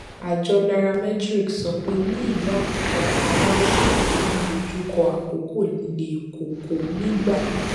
àjọ nairametrics sọ pé ní ìlú abuja àwọn aráàlú ń dojú kọ àkókò líle koko nígbà